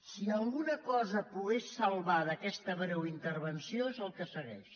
si alguna cosa pogués salvar d’aquesta breu interven·ció és el que segueix